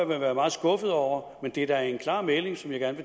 vil være meget skuffet over men det er da en klar melding som jeg gerne